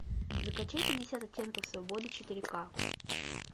закачай пятьдесят оттенков свободы четыре ка